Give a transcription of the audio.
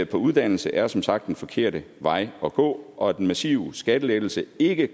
på uddannelse er som sagt den forkerte vej at gå og at den massive skattelettelse ikke